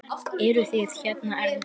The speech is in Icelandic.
Eruð þið hérna ennþá?